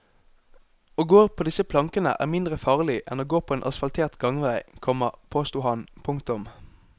Å gå på disse plankene er mindre farlig enn å gå på en asfaltert gangvei, komma påsto han. punktum